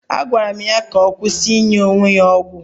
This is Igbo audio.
Agwara m ya kwụsị inye onwe ya ọgwụ